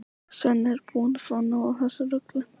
Svenni er búinn að fá nóg af þessu rugli.